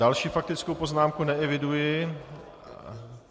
Další faktickou poznámku neeviduji...